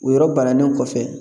O yɔrɔ bannen kɔfɛ